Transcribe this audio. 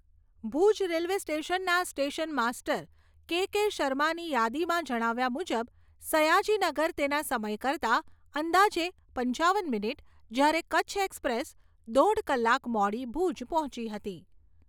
Bhuj railway સ્ટેશનના station master K K. શર્માની યાદીમાં જણાવ્યા મુજબ સયાજીનગર તેના સમય કરતા અંદાજે પંચાવન મિનીટ, જ્યારે કચ્છ એક્સપ્રેસ દોઢ કલાક મોડી ભુજ પહોંચી હતી.